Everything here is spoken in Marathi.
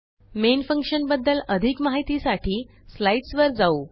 मेन फंक्शन बद्दल अधिक माहितीसाठी स्लाईडसवर जाऊ